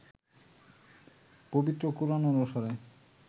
পবিত্র কোরআন অনুসারে